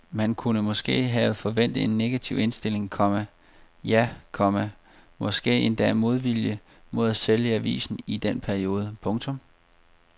Man kunne måske have forventet en negativ indstilling, komma ja, komma måske endda modvilje mod at sælge avisen i den periode. punktum